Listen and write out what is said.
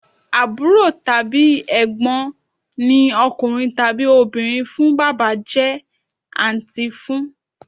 Àbúrò tàbí Ẹ̀gbọ́n ní ọkùnrin tàbí obìnrin fún Bàbá jẹ́ àǹtí fún